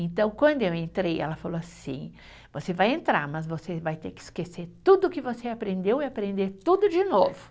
Então, quando eu entrei, ela falou assim, você vai entrar, mas você vai ter que esquecer tudo o que você aprendeu e aprender tudo de novo.